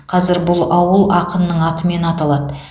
қазір бұл ауыл ақынның атымен аталады